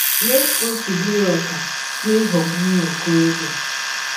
Lee ka ọ si bụrụ ọkà n’ịghọgbụ nwa ọkọrọbịa!